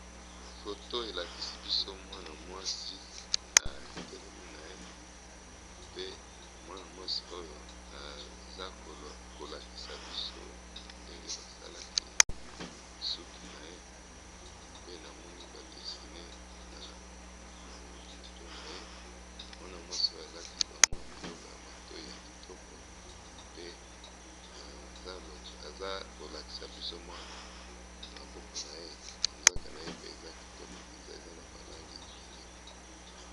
foto elakisi biso mwana mwasi atelemi na ye pe mwana mwasi oyo aza kolakisa biso ndenge basalaki suki na ye pe namoni badesine na mutu na ye mwana mwasi oyo alati bamwa biloko ya mato ya kitoko pe aza kolakisa biso mwa maboko na ye na nzaka na ye pe eza kitoko mpenza eza na balange ebele